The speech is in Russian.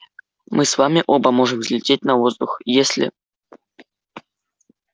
мы с вами оба можем взлететь на воздух если